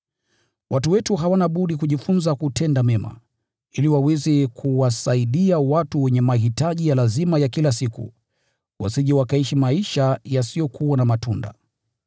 Watu wetu hawana budi kujifunza kutenda mema, ili waweze kuyakimu mahitaji ya kila siku, wasije wakaishi maisha yasiyokuwa na matunda.